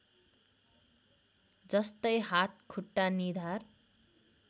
जस्तै हात खुट्टा निधार